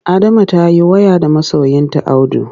Adama ta yi waya da masoyinta Audu.